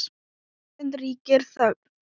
Um stund ríkir þögn.